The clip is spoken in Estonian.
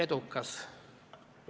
Saab.